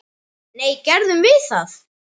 Nei, gerðum við það?